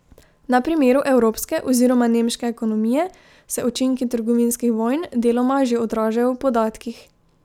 Na primeru evropske oziroma nemške ekonomije se učinki trgovinskih vojn deloma že odražajo v podatkih.